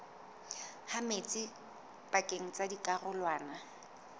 ha metsi pakeng tsa dikarolwana